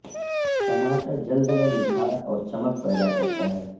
ٹماٹر جلد میں نکھار اور چمک پیدا کرتا ہے